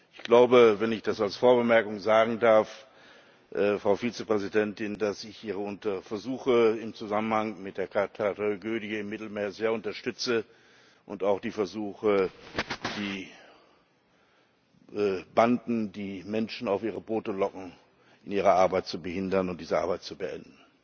Ich glaube wenn ich das als Vorbemerkung sagen darf, Frau Vizepräsidentin dass ich Ihre Versuche im Zusammenhang mit der Tragödie im Mittelmeer sehr unterstütze und auch die Versuche, die Banden, die Menschen auf ihre Boote locken, in ihrer Arbeit zu behindern und dem ein Ende zu bereiten.